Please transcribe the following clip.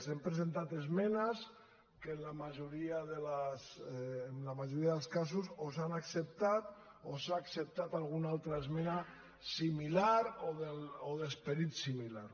hem presentat esmenes que en la majoria dels casos o s’han acceptat o s’ha acceptat alguna altra esmena similar o d’esperit similar